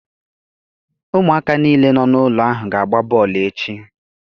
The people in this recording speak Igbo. Ụmụaka niile nọ n'ụlọ ahụ ga-agba bọọlụ echi.